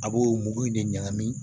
A b'o mugu in de ɲagami